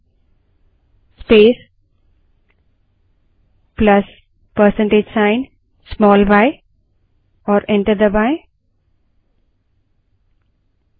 prompt पर date space plus percentage sign small y type करें और enter दबायें